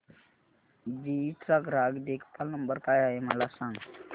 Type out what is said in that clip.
GE चा ग्राहक देखभाल नंबर काय आहे मला सांग